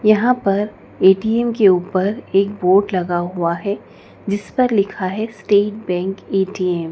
यहां पर ए_टी_एम के ऊपर एक बोर्ड लगा हुआ है। जिस पर लिखा है स्टेट बैंक ए_टी_एम --